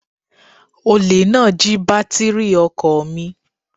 Olè náà jí bátírì ọkọ̀ mi